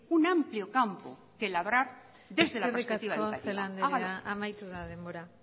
un amplio campo que labrar desde la eskerrik asko celaá anderea amaitu da denbora